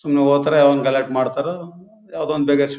ಸುಮ್ನೆ ಹೋಗ್ತಾರೆ ಯಾವ್ದೋ ಒಂದು ಗಲಾಟೆ ಮಾಡ್ತಾರು ಯಾವ್ದೋ ಒಂದ್ ಬೇಗ--